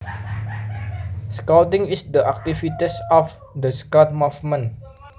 Scouting is the activities of the Scout Movement